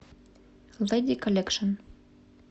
лэди коллекшн